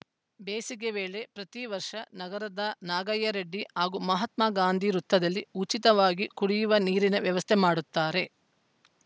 ಬೇಸಿಗೆ ವೇಳೆ ಪ್ರತಿ ವರ್ಷ ನಗರದ ನಾಗಯ್ಯರೆಡ್ಡಿ ಹಾಗೂ ಮಹಾತ್ಮ ಗಾಂಧಿ ವೃತ್ತದಲ್ಲಿ ಉಚಿತವಾಗಿ ಕುಡಿಯುವ ನೀರಿನ ವ್ಯವಸ್ಥೆ ಮಾಡುತ್ತಾರೆ